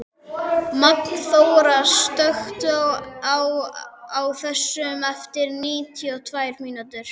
Magnþóra, slökktu á þessu eftir níutíu og tvær mínútur.